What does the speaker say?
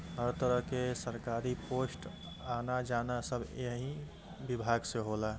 हर तरह के सरकारी पोस्ट आना-जाना सब यही विभाग से होला।